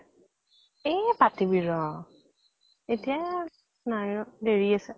এ পাতিবি ৰʼ, এতিয়া নাই ৰʼ, দেৰি আছে।